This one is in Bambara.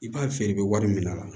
I b'a feere bɛ wari minɛ a la